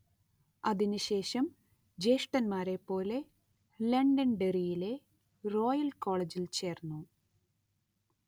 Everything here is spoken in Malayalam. അതിനു ശേഷം ജ്യേഷ്ഠന്മാരെപ്പോലെ ലണ്ടൻഡെറിയിലെ ഫോയൽ കോളേജിൽ ചേർന്നു